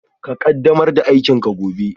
Ka ƙaddamar da aikinka gobe